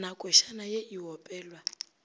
na košana ye e opelwa